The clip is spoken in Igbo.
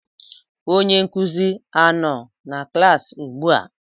Onye nkuzi a nọ na klaasị ugbua?